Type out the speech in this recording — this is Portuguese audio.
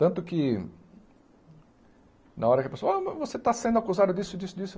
Tanto que, na hora que a pessoa, ah, mas você está sendo acusado disso, disso, disso.